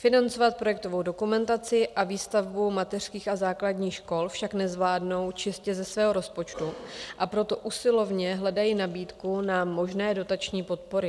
Financovat projektovou dokumentaci a výstavbu mateřských a základních škol však nezvládnou čistě ze svého rozpočtu, a proto usilovně hledají nabídku na možné dotační podpory.